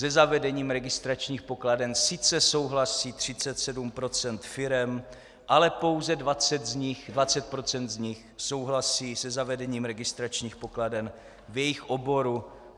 Se zavedením registračních pokladen sice souhlasí 37 % firem, ale pouze 20 % z nich souhlasí se zavedením registračních pokladen v jejich oboru.